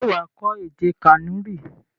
Ṣé wà á kọ́ èdè Kànúrì?